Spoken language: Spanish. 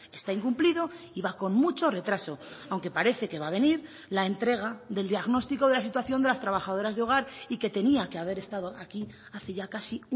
está incumplido y va con mucho retraso aunque parece que va a venir la entrega del diagnóstico de la situación de las trabajadoras de hogar y que tenía que haber estado aquí hace ya casi